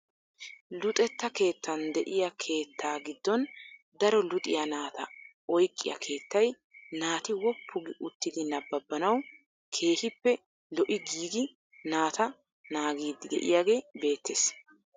Luxetta keettaan de'iyaa keettaa giddon daro luxxiyaa naata oyqqiyaa keettay naati wooppu gi uttidi nabaabanawu keehippe lo"i giigi naati naagiidi de'iyaagee beettees.